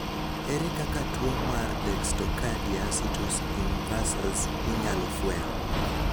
ere kaka tuo mar dextrocardia situs inversus inyalo fweny?